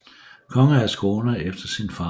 Konge af Skåne efter sin farbror